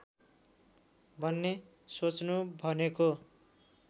भन्ने सोच्नु भनेको